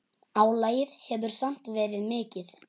Álagið hefur samt verið mikið.